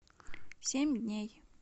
семь дней